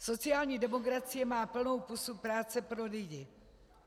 Sociální demokracie má plnou pusu práce pro lidi.